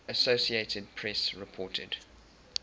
associated press reported